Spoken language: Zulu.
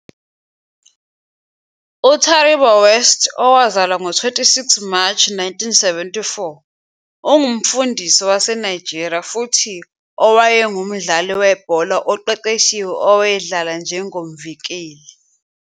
UTaribo West, owazalwa ngo-26 Mashi 1974, ungumfundisi waseNigeria futhi owayengumdlali webhola oqeqeshiwe owayedlala njengomvikeli.